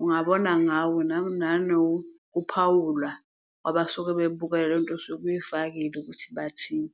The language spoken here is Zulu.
ungabona ngawo nanokuphawula abasuke bekubukela, lento osuke uyifakile ukuthi bathini.